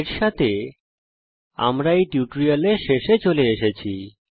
এর সঙ্গে আমরা এই টিউটোরিয়ালের শেষে চলে এসেছি